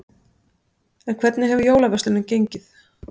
En hvernig hefur jólaverslunin gengið?